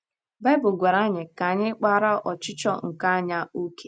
Baịbụl gwara anyị ka anyị kpaara “ ọchịchọ nke anya ” ókè.